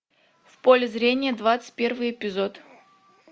в поле зрения двадцать первый эпизод